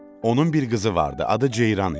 Onun bir qızı vardı, adı Ceyran idi.